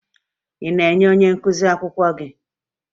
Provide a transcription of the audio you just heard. Ị na-enye onye nkụzi akwụkwọ gị?